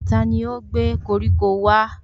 Tani ó gbé koríko wá?